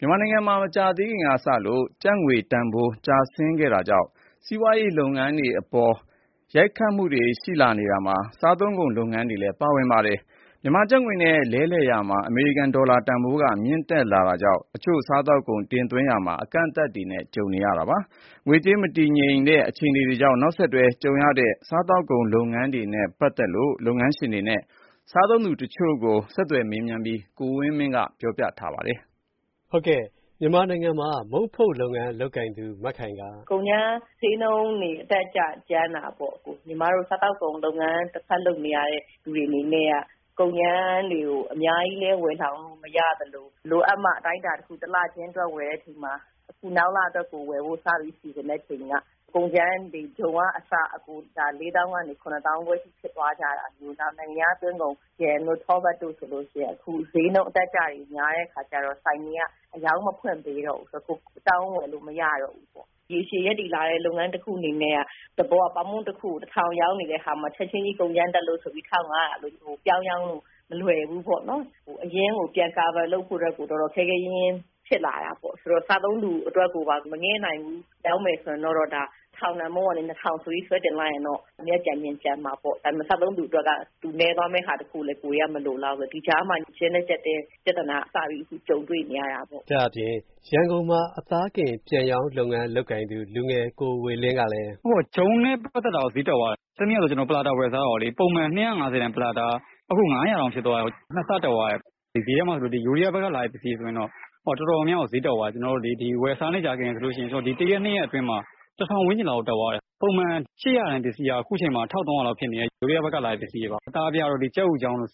မြန်မာနိုင်ငံမှာ မကြာသေးခင်ကစလို့ ကျပ်ငွေတန်ဘိုး ကျဆင်းခဲ့တာကြောင့် စီးပွားရေး လုပ်ငန်းတွေအပေါ် ရိုက်ခတ်လာနေရာမှာ စားသုံးကုန် လုပ်ငန်းတွေလည်း ပါဝင် လာပါတယ်။ မြန်မာကျပ်ငွေနဲ့ လဲလှယ်ရာမှာ အမေရိကန် ဒေါ်လာတန်ဘိုး မြင့်လာတာကြောင့် တချို့စားသုံးကုန်တွေ တင်သွင်းရာမှာ အကန့်အသတ်တွေနဲ့လည်း ကြုံနေရတာပါ။ ငွေကြေး မတည်ငြိမ်တဲ့ အခြေအနေကြောင့် နောက်ဆက်တွဲ ကြုံနေရတဲ့ စားသောက်ကုန် လုပ်ငန်းတွေနဲ့ ပတ်သက်လို့ လုပ်ငန်းရှင်တွေနဲ့ စားသုံးသူ တချို့ကို ကိုဝင်းမင်းက ဆက်သွယ်မေးမြန်း တင်ပြထားပါတယ်။ ကိုဝင်းမင်း ။. ။ မြန်မာနိုင်ငံမှာ မုံဖုတ်လုပ်ငန်းလုပ်ကိုင်သူ မခိုင် က... မခိုင် ။. ။ ကုန်ကြမ်းဈေးနှုန်းတွေ အတက်အကျကြမ်းတာပေါ့။ စားသောက်ကုန်လုပ်ငန်းလုပ်ကိုင်သူတွေအနေနဲ့က ကုန်ကြမ်းတွေကို အများကြီးလည်း ဝယ်လှောင်ထားလို့မရသလို လိုအပ်မှ တလချင်းဝယ်ရသလို အခုနောက်လအတွက်ဝယ်ဖို့စ စီစဉ်တဲ့အချိန်က ကုန်ကြမ်းတွေ ဂျုံကအစ လေးသောင်းကနေ ခုနှစ်သောင်းခွဲဖြစ်သွားတာကအစ နိုင်ငံခြားသွင်းကုန် Jam တို့ ထောပတ်တို့ဆိုလို့ရှိရင်ဈေးနှုန်းအတက်အကျကြမ်းတော့ကြတော့ ဆိုင်တွေက အရောင်းဖွင့်မပေးတော့ဘူး။ ရေရှည်ရပ်တည်လာတဲ့ လုပ်ငန်းတခုအနေနဲ့က သဘောက ပေါင်မုံတခုကို တထောင်ရောင်းနေရာကနေ ချက်ချင်းကြီး ကုန်ကြမ်းတက်လို့ဆိုပြီး တထောင်ငါးရာ ပြောင်းရောင်းဖို့ မလွယ်ဘူးပေါ့နော်။ အရင်းကို ပြန်ရဖို့အတွက် တော်တော်ခဲခဲရင်းရင်းဖြစ်လာတာပေါ့။ စားသုံးသူအတွက် မငဲ့ပဲ ရောင်းမယ်ဆိုရင်တော့ တထောင်တန်မုံကနေ နှစ်ထောင်ဆိုပြီး ဆွဲတင်လိုက်ရင်တော့ အမြတ်ကျန်ချင်ကျန်မှာပေါ့။ ဒါပေမယ့် စားသုံးသူနည်းသွားမယ့်ဟာကိုလည်း ကိုယ်တွေက မလိုလားဘူးပေါ့။ ဒီကြားထဲမှာ ကျဉ်းထဲကြပ်ထဲ ပြသာနာစကြုံတွေ့နေရတာပေါ့။ ကိုဝင်းမင်း ။. ။ ဒါအပြင် ရန်ကုန်မှာ အသားကင်လုပ်ငန်းလုပ်ကိုင်သူ လူငယ် ကိုဝေမင်း ကလည်း ကိုဝေမင်း ။. ။ ဂျုံနဲ့ပတ်သက်တာ ဈေးတက်သွားတယ်။ တနေ့ကပဲ ကျနော် ပလာတာဝယ်စားတာ ပုံမှန် ၂၅ဝ တန်က အခု ၅ဝဝတောင်ဖြစ်သွားတာ။ ၂ဆတက်သွားတာ။ ဈေးထဲမှာ ထိုင်းဖက်က လာတာတွေကို ဝယ်စားတာတွေဆို တော်တော်များများ ဈေးတက်သွားတာ။ ဒီတရက် ၂ရက်အတွင်းမှာ တထောင်ဝန်းကျင်တက်သွားတယ်။ ပုံမှန် ၈၀၀ တန်ပစ္စည်းက ထိုင်းဖက်က ပစ္စည်းက ၁၃ဝဝ လောက်တက်သွားတယ်။ အသားပြားတို့ ကြက်အူချောင်းတို့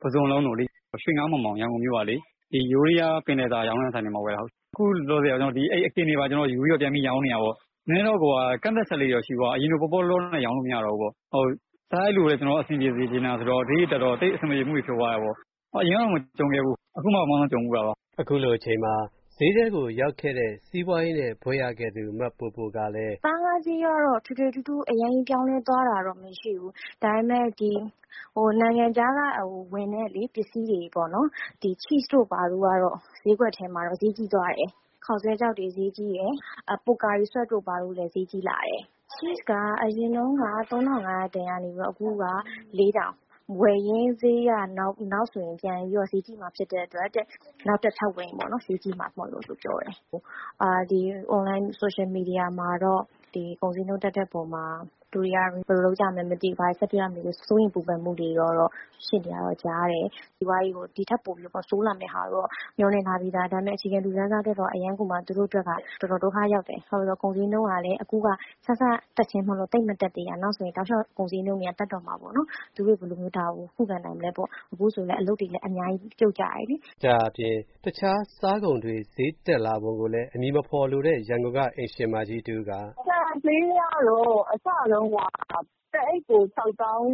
ပုဇွန်လုံးတို့လေ။ ခုလောလောဆယ်မှာ ထိုင်းဖက် ကပစ္စည်းရောင်းနေတာပေါ့။ အရင်လို ပေါပေါလောလောနဲ့ ရောင်းမရတော့ဘူးပေါ့။ ဈေးတွေတက်တော့ သိပ်အဆင်မပြေဘူးပေါ့။ အရင်က မကြုံဖူးဘူး။ အခုမှကြုံဖူးတာ။ ကိုဝင်းမင်း ။. ။ အခုလိုအချိန်မှာ ဈေးထဲရောက်ခဲ့တဲ့ စီးပွားရေးနဲ့ ဘွဲ့ရခဲ့သူ မပိုပို က မပိုပို ။. ။ သားငါးဈေးကတော့ ထွေထွေထူးထူးအရမ်းပြောင်းလဲသွားတာတော့ မရှိဘူး။ ဒါပေမယ့် နိုင်ငံခြားကဝင်တဲ့ ပစ္စည်းတွေပေါ့ ဒီချိစ် တို့ဘာတို့ ဈေးကြီးသွားတယ်။ ခေါက်ဆွဲခြောက်တွေဈေးကြီးတယ်။ ချီစ် က အရင်တုံးက ၃၅ဝဝတန်ကနေပြီး အခု ၄ဝဝဝ ။ ဝယ်ရင်းဈေးက နောက်ဆိုရင် ပြန်ပြီးဈေးကြီးမှာဖြစ်တဲ့အတွက် နောက်ထပ်ထပ်ဝင်ရင် ဈေးကြီးမှာလို့ပြောတယ်။ အွန်လိုင်းဆိုရှယ်မီဒီယာမှာတော့ လူတွေက စိုးရိမ်ပူပန်မှုတွေများကြတယ်။ စီးပွားရေးကို ဒီထက်ပိုဆိုးလာမှာကိုတော့ မျှော်လင့်ထားပြီးသား။ ဒါပေမယ် အခြေခံလူတန်းစားအတွက်က ပိုပြီး ဒုက္ခရောက်မယ်။ ကုန်ဈေးနှုန်းကလည်း အခုက စစချင်းမို့မတက်သေးတာ။ နောက်ဆိုပိုပြီးတော့ တက်တော့မယ်။ အခုဆိုလည်း အလုပ်တွေအများကြီး ပြုတ်ကြတယ်လေ။ ကိုဝင်းမင်း ။. ။ ဒါအပြင် တခြားစားကုန်တွေ ဈေးတက်လာပုံကိုလည်း အမည်မဖော်လိုတဲ့ အိမ်ရှင်မတဦး က အိမ်ရှင်မတဦး ။. ။ ဆန်ဈေးကတော့ အစတုံးက တအိပ်ကို ခြောက်သောင်း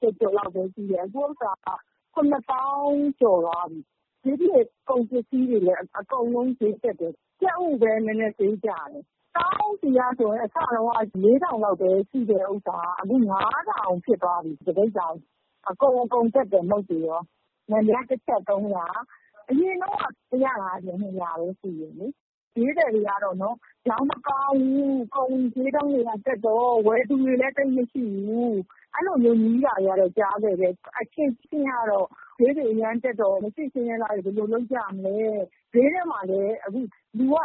ကျော်ကျော်လောက်ပဲရှိတယ်။ အခုဟာက ၇ သောင်း ကျော်သွားပြီ။ ဒီပြင် ပစ္စည်းတွေလည်း အကုန်လုံး ဈေးတက်တယ်။ ကြက်ဥပဲ နည်းနည်း ဈေးကွာတယ်။ စားအုန်းဆီက အစက ၄ထောင်ကနေ အခု ၅ ထောင်ဖြစ်သွားပြီ။ အကုန်တက်တယ်။ နံပြားတချပ် ၃ရာ။ အရင်က ၁၅၀ ၊၂ဝဝ ပဲရှိတယ်။ ဈေးသည်တွေက ကုန်ဈေးနှုန်းတွေက တက်တော့ ရောင်းမကောင်းဘူး ၊ ဝယ်သူတွေလည်း သိပ်မရှိဘူး။ အဲလိုမျိုး ပြောတာတွေတော့ ကြားခဲ့တယ်။ ဈေးတွေအရမ်းတက်တော့ မရှိဆင်းရဲသားတွေ ဘယ်လိုလုပ်ကြမလဲ။ ဈေးထဲမှာလည်း လူက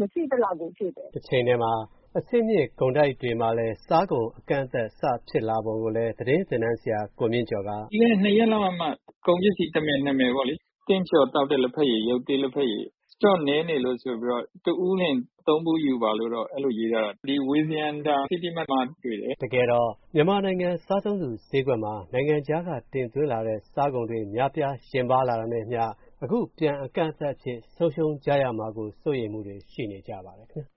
မရှိသလောက်ဖြစ်နေကြတယ်။ ကိုဝင်းမင်း ။. ။ တချိန်တည်းမှာလည်း အဆင့်မြင့် ကုန်တိုက်တွေမှာ စားကုန်တွေ အကန့်အသတ်စဖြစ်လာပုံကိုလည်း သတင်းသင်တန်းဆရာ ကိုမြင့်ကျော် က ကိုမြင့်ကျော် ။. ။ ပြီးခဲ့တဲ့ ၂ ရက်လောက်ကမှာ ကုန်ပစ္စည်း တမယ် နှစ်မယ်လေ။ တင့်ကျော် သောက်တဲ့ လဘက်ရည် လျော့နည်းနေလို့ဆိုပြီး တဦးလျှင် ၃ဗူးပဲယူပါလို့တော့ အဲလိုရေးထားတယ်။ ဒီဝေဇယန္တာ စီးတီးမတ် မှာလေ။ ကိုဝင်းမင်း ။. ။ တကယ်တော့ မြန်မာနိုင်ငံ စားသုံးသူဈေးကွက်မှာ ဒီနိုင်ငံခြားက တင်သွင်းလာတဲ့ စားကုန်တွေ များပြားလာတာနဲ့အမျှ အခုပြန်အကန့်အသတ်နဲ့ဆုံးရှုံးရမှာ ကို စိုးရိမ်နေကြပါတယ်ခင်ဗျ